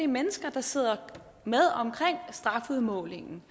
mennesker der sidder med omkring strafudmålingen